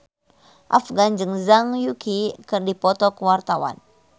Afgan jeung Zhang Yuqi keur dipoto ku wartawan